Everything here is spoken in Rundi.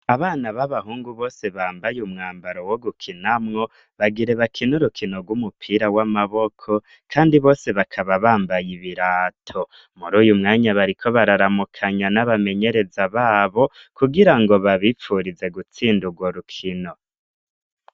Abana b'abahungu bose bambaye umwambaro wo gukinamwo bagire bakina urukino rw'umupira w'amaboko, kandi bose bakaba bambaye ibirato. Muri uyu mwanya bariko bararamukanya n'abamenyereza babo kugira ngo babipfurize gutsinda urwo rukino.